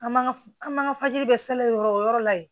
An m'an ka an m'an ka fajiri bɛ yɔrɔ o yɔrɔ la yen